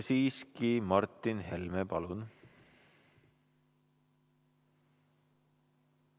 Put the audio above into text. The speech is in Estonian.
Siiski, Martin Helme, palun!